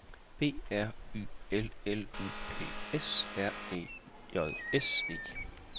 B R Y L L U P S R E J S E